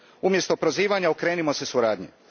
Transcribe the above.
Umjesto prozivanja okrenimo se suradnji.